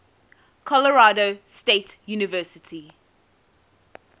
colorado state university